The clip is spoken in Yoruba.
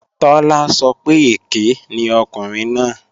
Tọ́lá sọ pé èké ni ọkùnrin náà